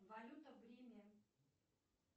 валюта в риме